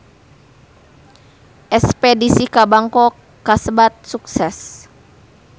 Espedisi ka Bangkok kasebat sukses